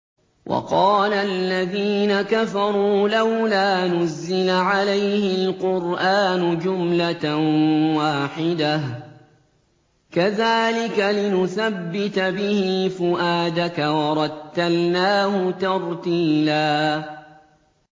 وَقَالَ الَّذِينَ كَفَرُوا لَوْلَا نُزِّلَ عَلَيْهِ الْقُرْآنُ جُمْلَةً وَاحِدَةً ۚ كَذَٰلِكَ لِنُثَبِّتَ بِهِ فُؤَادَكَ ۖ وَرَتَّلْنَاهُ تَرْتِيلًا